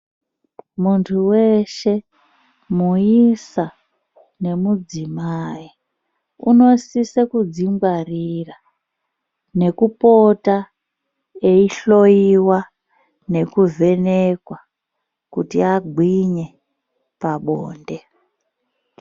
Muntu weshe muisa nemudzimai unosise kudzingwarira nekupota eihloyiwa nekuvhenekwa kuti agwinye pabonde.